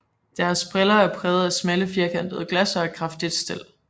Deres briller er præget af smalle firkantede glas og et kraftigt stel